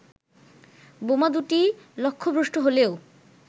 বোমা দু'টি লক্ষ্যভ্রষ্ট হলেও